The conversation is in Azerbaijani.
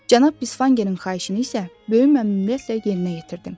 Cənab Bisvangerin xahişini isə böyük məmnuniyyətlə yerinə yetirdim.